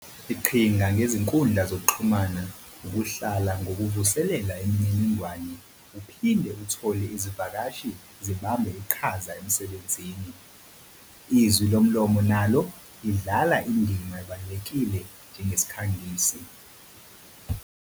Iqhinga ngezinkundla zokuxhumana ukuhlala ngokuvuselela imininingwane uphinde uthole izivakashi zibambe iqhaza emsebenzini. Izwi lomlomo nalo lidlala indima ebakulekile njengesikhangisi.